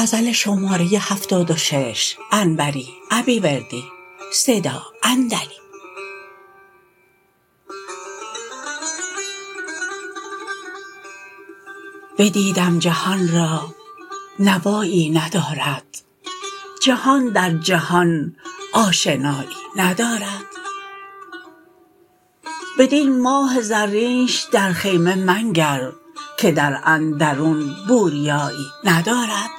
بدیدم جهان را نوایی ندارد جهان در جهان آشنایی ندارد بدین ماه زرینش در خیمه منگر که در اندرون بوریایی ندارد